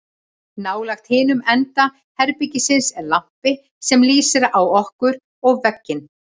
Nálægt hinum enda herbergisins er lampi sem lýsir á okkur og vegginn.